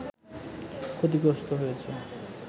ক্ষতিগ্রস্ত হয়েছে